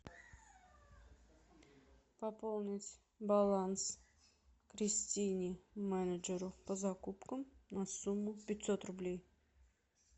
пополнить баланс кристине менеджеру по закупкам на сумму пятьсот рублей